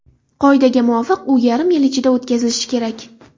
Qoidaga muvofiq, u yarim yil ichida o‘tkazilishi kerak.